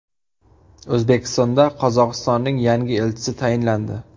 O‘zbekistonda Qozog‘istonning yangi elchisi tayinlandi.